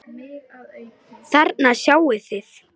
Þarna sjáið þið.